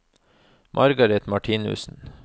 Margareth Martinussen